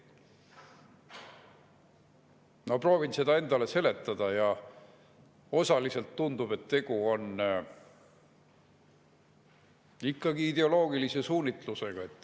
Ma proovin seda endale seletada ja osaliselt tundub, et tegu on ikkagi ideoloogilise suunitlusega.